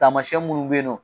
Tamasiɲɛn minnu bɛ yen nɔ